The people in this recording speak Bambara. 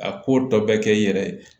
A ko dɔ bɛ kɛ i yɛrɛ ye